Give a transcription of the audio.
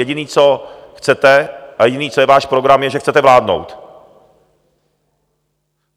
Jediné, co chcete, a jediné, co je váš program, je, že chcete vládnout.